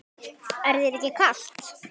Er þér ekki kalt?